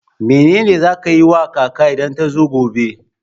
Mene ne za ki yi ma kaka idan ta zo gobe?